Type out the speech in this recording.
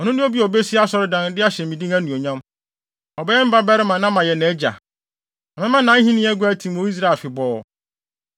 Ɔno ne obi a obesi asɔredan, de ahyɛ me din anuonyam. Ɔbɛyɛ me babarima na mayɛ nʼagya. Na mɛma nʼahenni ahengua atim wɔ Israel afebɔɔ.’